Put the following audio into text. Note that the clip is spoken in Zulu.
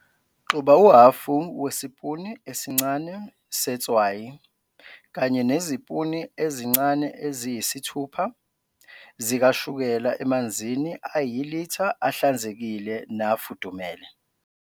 Xuba uhhafu wesipuni esincane setswayi kanye nezipuni ezincane eziyisithupha zikashukela emanzini ayilitha ahlanzekile nafudumele.